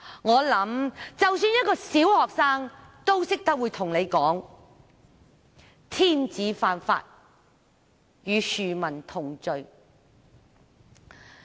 我想即使小學生也懂得告訴他，"天子犯法，與庶民同罪"。